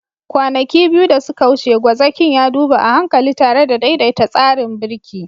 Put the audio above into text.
Kwanaki biyu da suka wuce, gwazakin ya duba a hankali tare da daidaita tsarin birki.